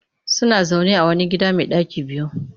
Suna zaune a wani gida mai ɗaki biyu